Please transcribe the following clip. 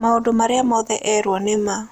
Maũndũ marĩa mothe eerirũo nĩ ma.